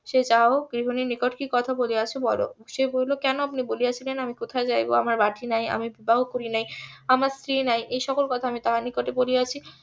সে যা হোক গৃহীনের নিকট কি কথা বলিয়াছ বলো সে বলিল কেন আপনি বলিয়াছিলেন আমি কোথায় যাইবো আমার বাটি নাই আমি বিবাহ করি নাই আমার স্ত্রী নাই এই সকল কথা আমি তাহার নিকট বলিয়াছি